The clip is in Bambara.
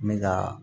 N bɛ ka